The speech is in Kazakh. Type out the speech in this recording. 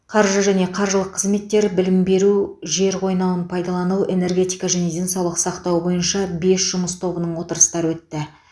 қаржы және қаржылық қызметтер білім беру жер қойнауын пайдалану энергетика және денсаулық сақтау бойынша бес жұмыс тобының отырыстары өтті